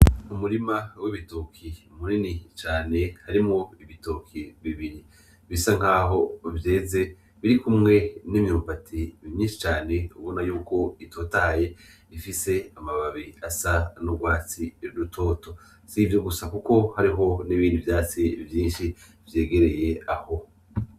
Umurima w'ibitoki munini cane, harimwo ibitoki bibiri bisa nkaho vyeze biri kumwe n'imyumbati myinshi cane, ubona yuko itotahaye ifise amababi asa n'ugwatsi rutoto, s'ivyo gusa kuko hariho n'ibindi vyatsi vyinshi vyegereye aho.